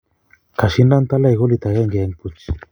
kashindan talai golit akenge en puch